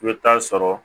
I bɛ taa sɔrɔ